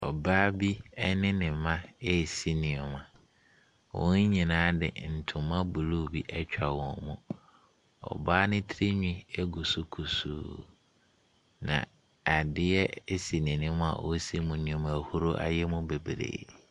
Ɔbaa bi ne ne mma resi nneaɛma. Wɔn nyinaa de ntoma blue bi atwa wɔ mu. Ɔbaa no tiri nhwi egu so kusuu. Na adeɛ si n'anim a ɔresi mu nneɛma na ahuro ayɛ mu bebree.